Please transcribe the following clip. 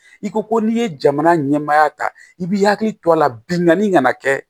I ko ko n'i ye jamana ɲɛmaaya ta i b'i hakili to a la binkanni kana kɛ